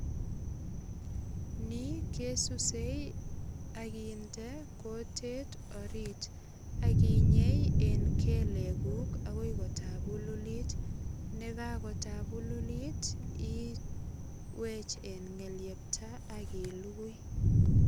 Nikesusei ak kinde kutit orit ak inyei en keleguk agoi kotabululit. Nekakotabululit iwech en ngelyepta ak ilugui.